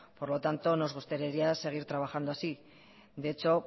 por lo tanto nos gustaría seguir trabajando así de hecho